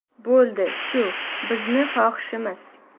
Bo‘ldi, shu, bizni xohishimiz”.